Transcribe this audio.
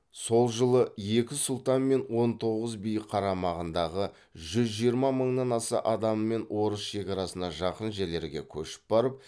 сол жылы екі сұлтан мен он тоғыз би қарамағындағы жүз жиырма мыңнан аса адамымен орыс шекарасына жақын жерлерге көшіп барып